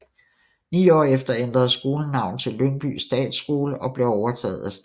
Ni år efter ændrede skolen navn til Lyngby Statsskole og blev overtaget af staten